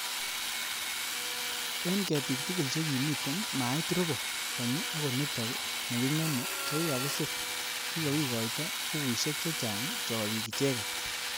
Eng ketik tugul chekimitei mait robo konyi akonitok nekingeme chekikakisir kikakokoito bukuishek chechang cchobik icheket